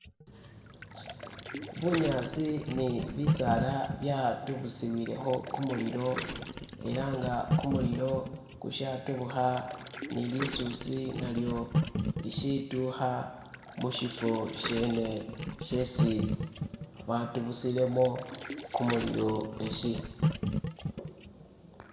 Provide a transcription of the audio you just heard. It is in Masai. Bunyasi ni bisaala byatubusiwilekho kumulilo elanga kumulilo kushatubukha ni lisusi nalyo lishituha mushifo shene shesi batubusilemo gumililo eshi